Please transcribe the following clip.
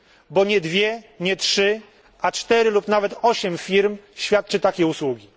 Bo nie dwie, nie trzy, a cztery lub nawet osiem firm świadczy takie usługi.